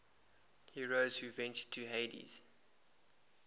heroes who ventured to hades